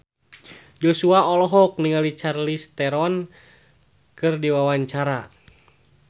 Joshua olohok ningali Charlize Theron keur diwawancara